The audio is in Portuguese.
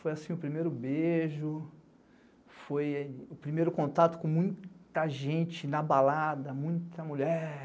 Foi assim o primeiro beijo, foi o primeiro contato com muita gente na balada, muita mulher.